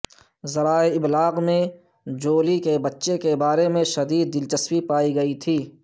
ذرائع ابلاغ میں جولی کے بچے کے بارے میں شدید دلچسپی پائی گئی تھی